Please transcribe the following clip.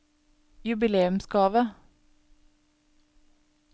jubileumsgave